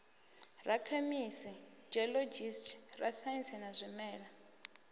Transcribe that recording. rakhemisi geologist rasaintsi wa zwimela